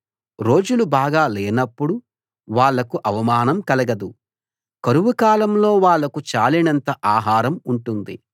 రోజులు బాగా లేనప్పుడు వాళ్ళకు అవమానం కలగదు కరువు కాలంలో వాళ్ళకు చాలినంత ఆహారం ఉంటుంది